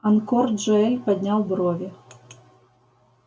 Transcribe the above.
анкор джаэль поднял брови